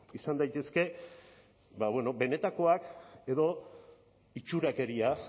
izan daitezke benetakoak edo itxurakeria